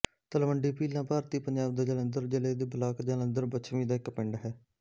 ਤਲਵੰਡੀ ਭੀਲਾਂ ਭਾਰਤੀ ਪੰਜਾਬ ਦੇ ਜਲੰਧਰ ਜ਼ਿਲ੍ਹੇ ਦੇ ਬਲਾਕ ਜਲੰਧਰ ਪੱਛਮੀ ਦਾ ਇੱਕ ਪਿੰਡ ਹੈ